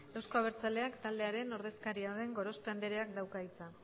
eusko abertzaleak taldearen ordezkaria den gorospe andreak dauka hitza